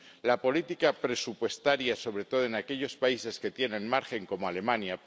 la política presupuestaria, sobre todo en aquellos países que tienen margen, como Alemania